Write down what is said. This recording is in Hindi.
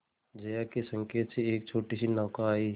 जया के संकेत से एक छोटीसी नौका आई